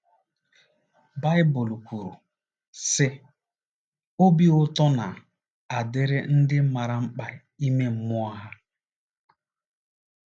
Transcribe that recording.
” Baịbụl kwuru, sị: “ Obi ụtọ na - adịrị ndị maara mkpa ime mmụọ ha. ”